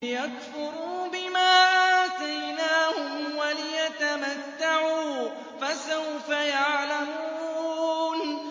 لِيَكْفُرُوا بِمَا آتَيْنَاهُمْ وَلِيَتَمَتَّعُوا ۖ فَسَوْفَ يَعْلَمُونَ